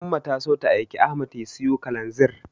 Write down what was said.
Umma ta so ta aiki Ahmad ya siyo Kalanzir.